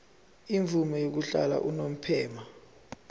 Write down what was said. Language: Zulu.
imvume yokuhlala unomphema